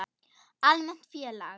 Almennt félag